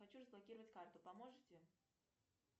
хочу разблокировать карту поможете